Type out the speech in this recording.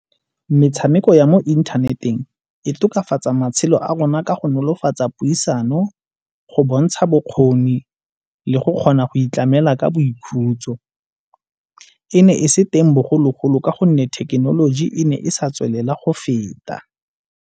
Metshameko ya mo inthaneteng e tokafatsa matshelo a rona ka go nolofatsa puisano go bontsha bokgoni le go kgona go itlamela ka boikhutso. E ne e se teng bogologolo ka gonne thekenoloji e ne e sa tswelela go feta.